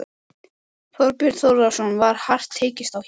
Þorbjörn Þórðarson: Var hart tekist á hér?